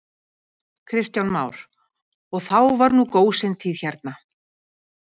Kristján Már: Og þá var nú gósentíð hérna?